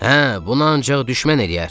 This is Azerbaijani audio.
Hə, bunu ancaq düşmən eləyər.